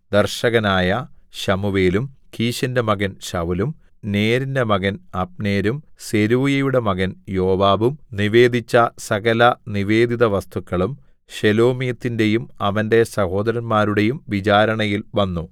ദർശകനായ ശമൂവേലും കീശിന്റെ മകൻ ശൌലും നേരിന്റെ മകൻ അബ്നേരും സെരൂയയുടെ മകൻ യോവാബും നിവേദിച്ച സകലനിവേദിതവസ്തുക്കളും ശെലോമീത്തിന്റെയും അവന്റെ സഹോദരന്മാരുടെയും വിചാരണയിൽ വന്നു